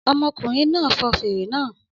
Ọmọkùnrin náà fọn fèrè náà